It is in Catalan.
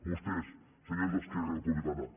vostès senyor d’esquerra republicana